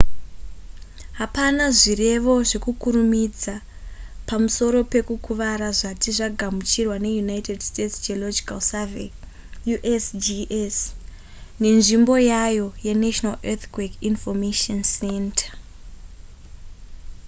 hapana zvirevo zvekukurumidza pamusoro pekukuvara zvati zvagamuchirwa neunited states geological survey usgs nenzvimbo yayo yenational earthquake information center